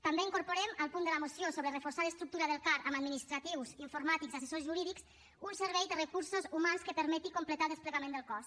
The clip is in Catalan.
també incorporem al punt de la moció sobre reforçar l’estructura del car amb administratius informàtics assessors jurídics un servei de recursos humans que permeti completar el desplegament del cos